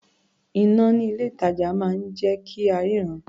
Iná ní ilé-ìtàjà máa ń jẹ́ kí a ríran.